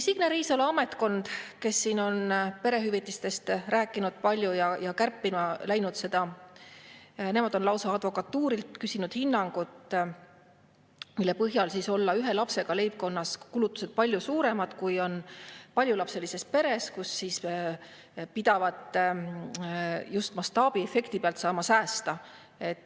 Signe Riisalo ametkond, kes siin on perehüvitistest palju rääkinud ja seda lauda kärpima läinud, on lausa advokatuurilt küsinud hinnangut, mille põhjal olla ühe lapsega leibkonnas kulutused palju suuremad, kui on paljulapselises peres, kus pidavat saama just mastaabiefekti pealt säästa.